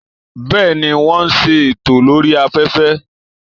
Bẹ́ẹ̀, wọ́n ń ṣètò lórí afẹ́fẹ́